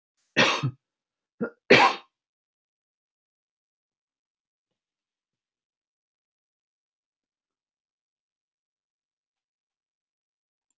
Við verðum að finna einhverja leið til að blíðka þá aftur.